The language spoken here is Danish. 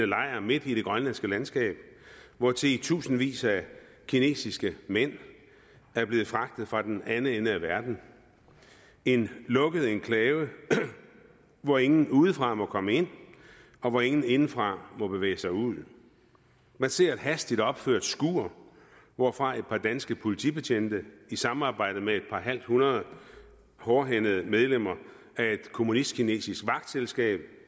lejr midt i det grønlandske landskab hvortil i tusindvis af kinesiske mænd er blevet fragtet fra den anden ende af verden en lukket enklave hvor ingen udefra må komme ind og hvor ingen indefra må bevæge sig ud man ser et hastigt opført skur hvorfra et par danske politibetjente i samarbejde med et par halvt hundrede hårdhændede medlemmer af et kommunistkinesisk vagtselskab